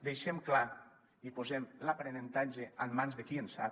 deixem clar i posem l’aprenentatge en mans de qui en sap